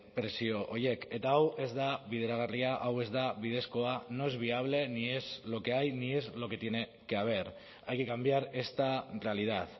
prezio horiek eta hau ez da bideragarria hau ez da bidezkoa no es viable ni es lo que hay ni es lo que tiene que haber hay que cambiar esta realidad